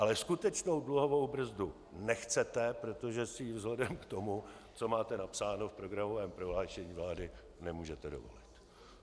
Ale skutečnou dluhovou brzdu nechcete, protože si ji vzhledem k tomu, co máte napsáno v programovém prohlášení vlády, nemůžete dovolit.